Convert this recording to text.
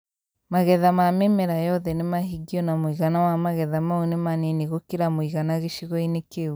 Magetha ma mĩmera yothe nĩ mahingio na mũigana wa magetha mau nĩ Manini gũkĩra mũigana gĩcigo-inĩ kĩu.